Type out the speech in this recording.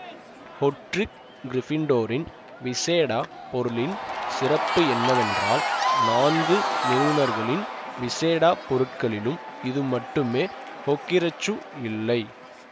Godric கிரிபிண்டோரின் விசேட பொருளின் சிறப்பு என்னவென்றால் நான்கு நிறுவுனர்களின் விசேடா பொருட்களிலும் இது மட்டுமே ஹோகிரக்சு இல்லை